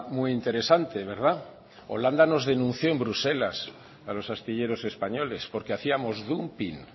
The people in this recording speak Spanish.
muy interesante verdad holanda nos denunció en bruselas a los astilleros españoles porque hacíamos dumping